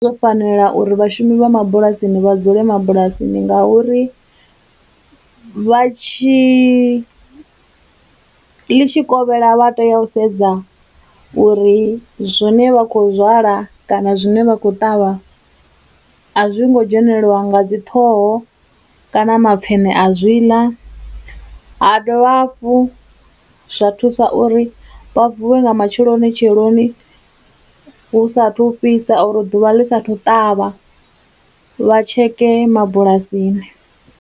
Zwo fanela uri vhashumi vha mabulasini vha dzule mabulasini ngauri vha tshi, ḽi tshi kovhela vha tea u sedza uri zwine vha khou zwala kana zwine vha khou ṱavha a zwi ngo dzhenelelwa nga dziṱhoho kana mapfheṋe a zwi ḽa, ha dovha hafhu zwa thusa uri vha vuwe nga matshelonitsheloni hu sathu fhisa uri ḓuvha ḽi sa thu ṱavha vha tsheke mabulasini.